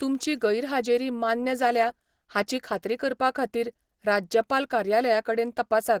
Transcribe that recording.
तुमची गैरहाजेरी मान्य जाल्या हाची खात्री करपा खातीर राज्यपाल कार्यालया कडेन तपासात.